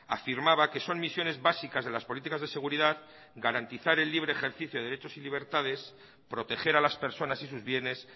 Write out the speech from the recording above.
afirmaba que son misiones básicas de las políticas de seguridad garantizar el libre ejercicio de derechos y libertades proteger a las personas y sus bienes